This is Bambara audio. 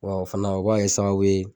Wa o fana o b'a kɛ sababu ye